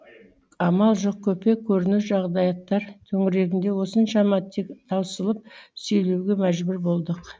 амал жоқ көпе көрнеу жағдаяттар төңірегінде осыншама таусылып сөйлеуге мәжбүр болдық